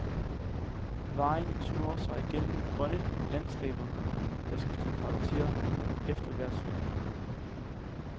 Vejen snor sig gennem grønne landskaeber, der skifter karakter efter hvert sving.